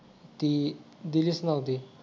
ती दिलीच नव्हती